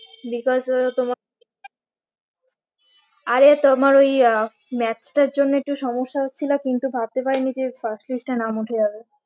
Because ও তোমার আরে তোমার ওই আহ maths টার জন্য একটু সমস্যা হচ্ছিলো কিন্তু ভাবতে পারিনি যে pass list এ নাম উঠে যাবে